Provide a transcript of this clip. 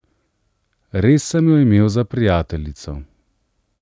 Res sem jo imel za prijateljico.